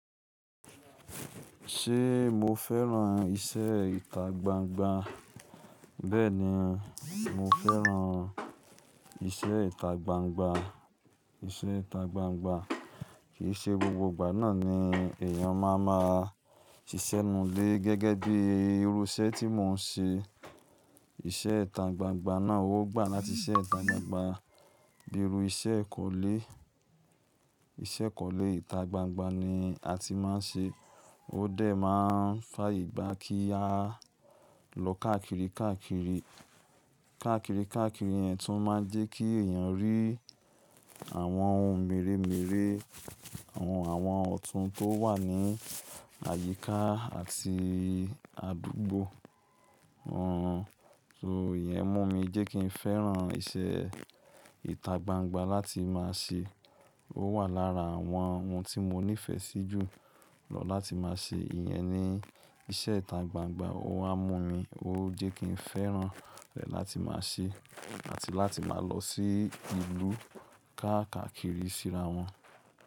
Ṣé mo fẹ́ràn iṣẹ́ ìta gbangba? Bẹ́ẹ̀ni, mo fẹ́ràn iṣẹ́ ìta gbangba. Iṣẹ́ ìta gbangba kì í ṣe gbogbo ìgbà náà ni èèyàn máa ma ṣiṣẹ́ ninù lé gẹ́gẹ́ bí irú iṣẹ́ tí mo ń ṣe. Iṣẹ́ ìta gbangba náà ó gbà láti iṣẹ́ ìta gbangba bí irú iṣẹ́ ìkọ́lé. Iṣẹ́ ìkọ́lé ìta gbangba ni a ti máa ń ṣe. Ó dẹ̀ máa ń fàayè gba kí a lọ káàkiri, káàkiri, káàkiri, káàkiri yẹ́n tún máa ń jẹ́ kí èèyàn rí àwọn ohun mèremère, àwọn ọ̀tún tó wà ní àyíká àti àdúgbò. So ìyẹn mú mi jẹ́ kí n fẹ́ràn iṣẹ́ ìta gbangba láti máa ṣe. Ó wà lára àwọn ohun tí mo nífẹ̀ẹ́ sí jù lọ láti máa ṣe. Ìyẹn ni iṣẹ́ ìta gbangba ó á mú mi, ó jẹ́ kí n fẹ́ràn rẹ̀ láti máa ṣe àti láti máa lọ sí ìlú káàkakiri síra wọn.